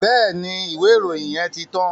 Bẹ́ẹ̀ni, ìwé ìròyìn yẹn ti tán.